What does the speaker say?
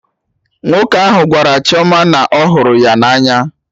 Nwoke ahụ gwara Chioma na ọhụrụ ya na anya